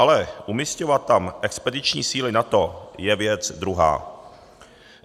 Ale umisťovat tam expediční síly NATO je věc druhá.